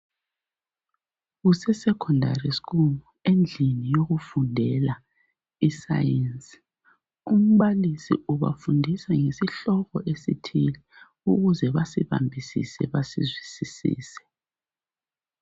Kuse Secondary school endlini yokufundela I Science. Umbalisi ubafundisa ngesihloko esithile ukuze basibambisise basizwisise.